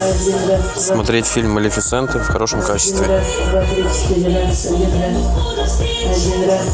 смотреть фильм малефисента в хорошем качестве